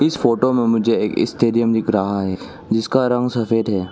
इस फोटो में मुझे एक स्टेडियम दिख रहा है जिसका रंग सफेद है।